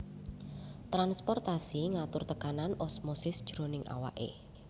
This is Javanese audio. Transportasi ngatur tekanan osmosis jroning awake